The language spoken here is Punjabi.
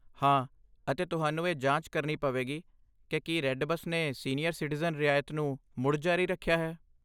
ਹਾਂ, ਅਤੇ ਤੁਹਾਨੂੰ ਇਹ ਜਾਂਚ ਕਰਨੀ ਪਵੇਗੀ ਕਿ ਕੀ ਰੇਡ ਬਸ ਨੇ ਸੀਨੀਅਰ ਸਿਟੀਜ਼ਨ ਰਿਆਇਤ ਨੂੰ ਮੁੜ ਜਾਰੀ ਰੱਖਿਆ ਹੈ।